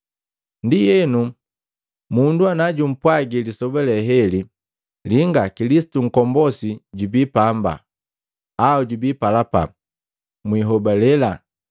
“Ndienu, mundu najumpwagi lisoba heli, ‘Linga, Kilisitu Nkombosi jubi pamba’ au ‘Jubi palapa,’ mwihobalela.